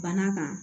Bana kan